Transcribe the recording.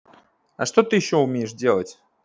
а что ты ещё умеешь делать